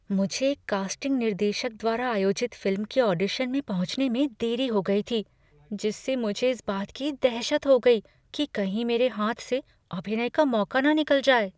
मुझे एक कास्टिंग निर्देशक द्वारा आयोजित फ़िल्म के ऑडिशन में पहुँचने में देरी हो गई थी जिससे मुझे इस बात की दहशत हो गई कि कहीं मेरे हाथ से अभिनय का मौका न निकल जाए।